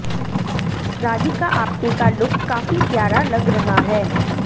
राधिका आप्टे का लुक काफी प्यारा लग रहा है